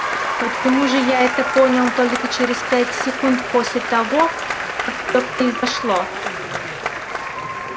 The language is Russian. почему же я это понял только через пять секунд после того как всё произошло